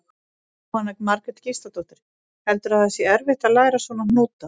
Jóhanna Margrét Gísladóttir: Heldurðu að það sé erfitt að læra svona hnúta?